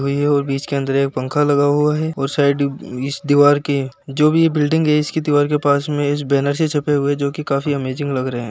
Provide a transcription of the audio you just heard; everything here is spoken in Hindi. और बिच के अन्दर पंखा लगा हुआ है और सायड इस दीवार के जो भी बिल्डिंग है। इसकी दीवार के पास में इस बैनर से छपे हुए जोकि काफी अमेजिंग लग रहे है।